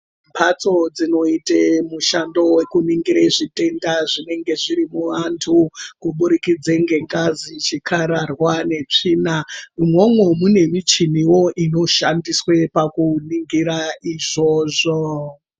Mhatso dzinoite mushando wekuningira zvitenda zvinenge zviri muvantu kuburikidze nge ngazi, chikararwa ne tsvina imwomwo mune michiniwo ino shandiswe pakuningira izvozvo.